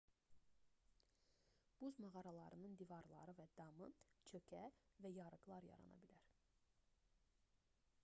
buz mağaralarının divarları və damı çökə və yarıqlar bağlana bilər